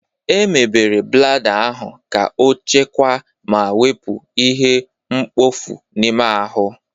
Emebere blada ahụ ka ọchekwaa ma wepụ ihe mkpofu n'ime ahụ.